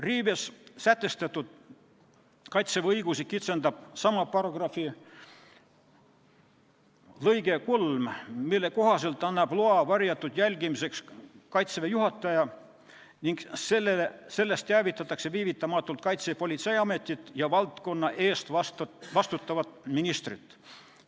Riives sätestatud Kaitseväe õigusi kitsendab sama paragrahvi lõige 3, mille kohaselt annab loa varjatud jälgimiseks Kaitseväe juhataja ning sellest teavitatakse viivitamatult Kaitsepolitseiametit ja valdkonna eest vastutavat ministrit.